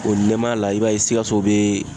O nɛmaya la , i b'a ye sikaso bɛ